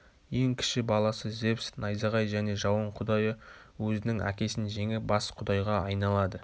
ең кіші баласы зевс найзағай және жауын құдайы өзінің әкесін жеңіп бас құдайға айналады